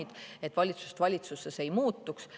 Oleks hea, kui see kõik valitsusest valitsusse ei muutuks.